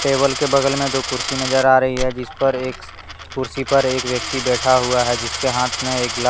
table के बगल में दो कुर्सी नज़र आ रही है जिसपर एक कुर्सी पर एक व्यक्ति बैठा हुआ है जिसके हाथ में एक ला--